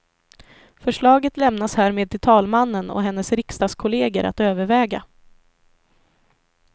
Förslaget lämnas härmed till talmannen och hennes riksdagskolleger att överväga.